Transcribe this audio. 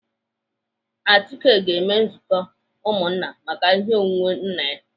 Achike ga-eme nzukọ ụmụnna maka ihe onwunwe nna ya.